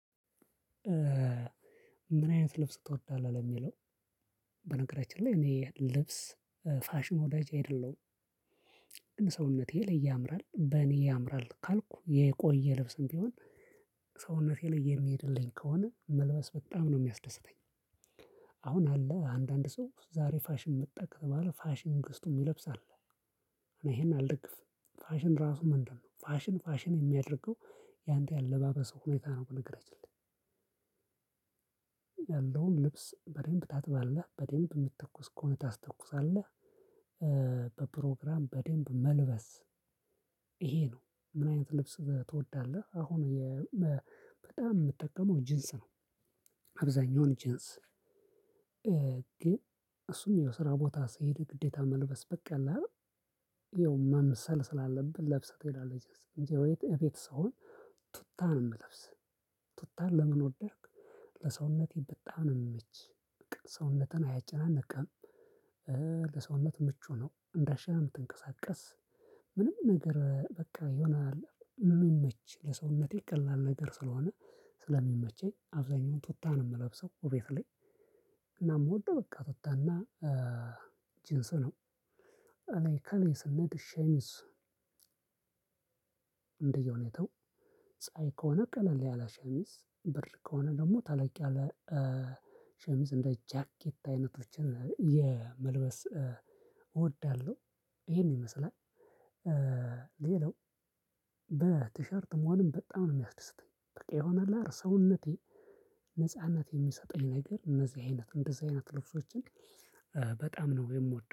ምን አይነት ልብስ ትወዳለህ ለሚለው በነገራችን ላይ እኔ የልብስ ፋሽን ወዳጅ አይደለሁም። ግን ሰውነቴ ልይ ያምራል በኔ ያምራል ካልኩ የቆየ ልብስም ቢሆን ሰውነቴ ላይ የሚሄድልኝ ከሆነ መልበስ በጣም ነው የሚያስደስተኝ። አ አሁን አለ አንዳንድ ሰው ዛሬ ፋሽን መጣ ከተባለ ፋሽኑን ገዝቶ የምለብስ አለ። እኔ ይሄን አልደግፍም። ፋሽን ራሱ ምንድነው? ፋሽንን ፋሽን የሚያደርገው ያንተ የአለባበስ ሁኔታ ነው። በነገራችን ላይ? ያለውን ልብስ በደንብ ታጥባለህ በደንብ የምትተኩስ ከሆነ ታስተኩሳለህ። በፕሮግራም በደንብ መልበስ ይሄ ነው። ምን አይነት ልብስ ትወዳለህ? አሁን የ በጣም የምጠቀመው ጅንስ ነው። አብዛኛውን ጅንስግን እሱም የስራ ቦታ ስሄድ ግዴታ መልበስ በቃ አለ አይደል? ይኸው መምሰል ስላለብህ ለብሰህ ትሄዳለ። እንጂ እቤት ሲሆን ቱታን ነው የምለብስ። ቱታን ለምን ወደድክ? ለሰውነቴ በጣም ነው የምመች ሰውነትን አያጨናንቅም። ለሰውነት ምቹ ነው እንደዚህ የምትንቀሳቀስ ምንም ነገር በቃ ይሆናል። የምመቼ ለሰውነቴ ቀላል ነገር ስለሆነ ስለሚመቸኝ አብዛኛውን ቱታ ነው የምለብሰው እቤት ላይ። እና የምወደው በቃ ትውታ እና ጂንስ ነው። እኔ ከእኔ ሰውነት ሸሚዝ። እንደየሁኔታው ፀሀይ ከሆነ ቀለል ያላ ሸሚዝ ብር ከሆነ ደግሞ ተለቅ ያለ። ሸ ሸሚዝ እንደ ጃኬት አይነቶችን የ መልበስ እወዳለሁ። ይሄን ይመስላል። ሌላው በቲሸርት መሆንም በጣም ነው የሚያስደስተኝ በቃ የሆነ አለ አይደል ሰውነቴ። ነጻነት የሚሰጠኝ ነገር እነዚህ አይነት እንደዚህ አይነት ልብሶችን በጣም ነው የምወደው